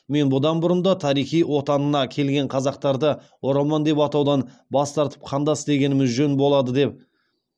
мен бұдан бұрын да тарихи отанына келген қазақтарды оралман деп атаудан бас тартып қандас дегеніміз жөн болады деп